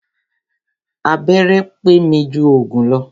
Abẹ́rẹ́ pé mi jù òògùn lọ.